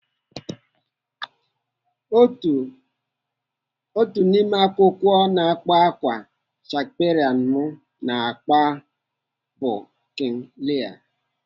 Otu n'ime akwụkwọ na-akpa ákwá Shakespeare m na-agụ bụ King Lear.